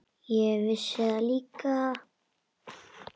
Ég vissi það líka.